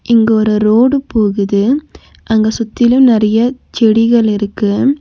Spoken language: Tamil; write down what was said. இங்க ஒரு ரோடு போகுது அங்க சுத்தியிலும் நெறைய செடிகள் இருக்கு.